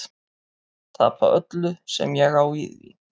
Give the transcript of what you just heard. Tapa öllu sem ég á í því.